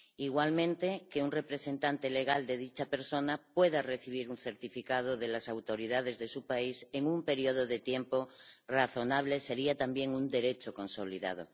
Igualmente, que un representante legal de dicha persona pueda recibir un certificado de las autoridades de su país en un periodo de tiempo razonable sería también un derecho consolidado.